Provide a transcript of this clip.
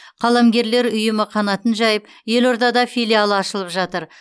қаламгерлер ұйымы қанатын жайып елордада филиалы ашылып жатыр